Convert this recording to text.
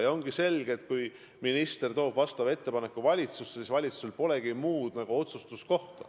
Tegelikult on selge, et kui minister toob sellesisulise ettepaneku valitsusse, siis valitsusel polegi võimalust muud otsustada.